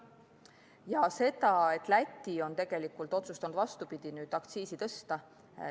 Ja see, et Läti on nüüd otsustanud hoopis aktsiisi tõsta.